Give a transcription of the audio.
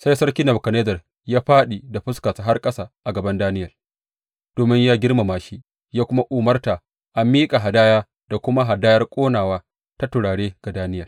Sai sarki Nebukadnezzar ya fāɗi da fuskarsa har ƙasa a gaban Daniyel domin ya girmama shi ya kuma umarta a miƙa hadaya da kuma hadayar ƙonawa ta turare ga Daniyel.